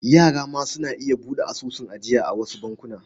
Yara ma suna iya buɗe asusun ajiya a wasu bankuna.